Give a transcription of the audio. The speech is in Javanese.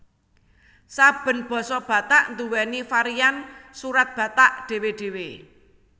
Saben basa Batak nduwèni varian Surat Batak dhéwé dhéwé